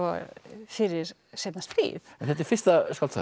fyrir seinna stríð en þetta er fyrsta skáldsagan